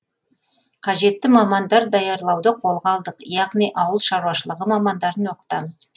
қажетті мамандар даярлауды қолға алдық яғни ауылшаруашылығы мамандарын оқытамыз